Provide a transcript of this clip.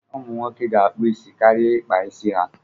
Ụmụ nwoke ga-akpụ isi karịa ịkpa isi ha.